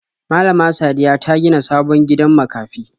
Malama Sadiya ta gina sabon gidan makafi.